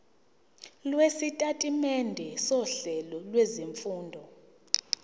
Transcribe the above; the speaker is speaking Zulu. lwesitatimende sohlelo lwezifundo